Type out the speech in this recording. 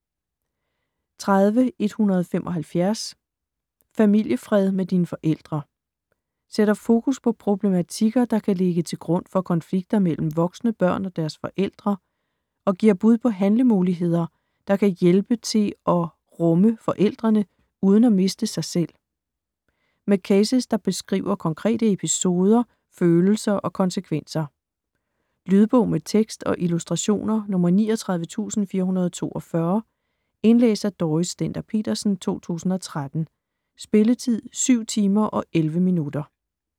30.175 Familiefred med dine forældre Sætter fokus på problematikker, der kan ligge til grund for konflikter mellem voksne børn og deres forældre, og giver bud på handlemuligheder, der kan hjælpe til at rumme forældrene uden at miste sig selv. Med cases der beskriver konkrete episoder, følelser og konsekvenser. Lydbog med tekst og illustrationer 39442 Indlæst af Dorrit Stender-Petersen, 2013. Spilletid: 7 timer, 11 minutter.